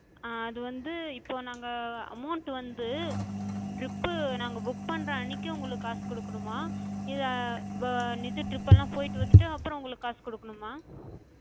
ஆஹ் அது வந்து, இப்ப நாங்க amount வந்து trip பு நாங்க book பண்ற அன்னைக்கு உங்களுக்குக் காசு குடுக்கணுமா? இல்ல இது trip லாம் போயிட்டு வந்துட்டு அப்புறம் உங்களுக்குக் காசு குடுக்கணுமா?